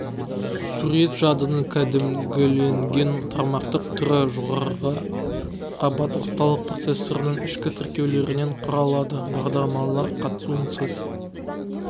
сурет жадының кәдімгіленген тармақтық түрі жоғарғы қабат орталық процессордың ішкі тіркеулерінен құралады бағдарламалар қатысуынсыз